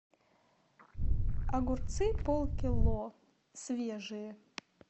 огурцы полкило свежие